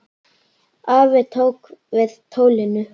Afi tók við tólinu.